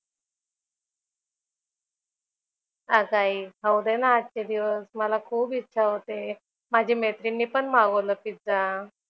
अगं आई खाऊ दे ना आजचे दिवस. मला खूप इच्छा होते. माझ्या मैत्रिणीने पण मागवलं पिझ्झा.